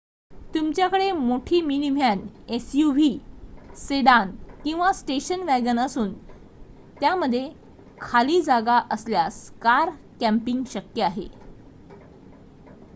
तुमच्याकडे मोठी minivan suv sedan किंवा स्टेशन वॅगन असून त्यामध्ये खाली जागा असल्यास कार कॅम्पिंग शक्य आहे